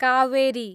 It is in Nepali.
कावेरी